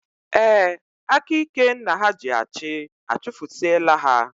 Ee, aka ike nna ha ji achị, achufusie la ha